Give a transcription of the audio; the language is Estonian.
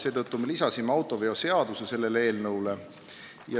Seetõttu me täiendasime eelnõu paragrahviga 31, millega muudetakse autoveoseadust.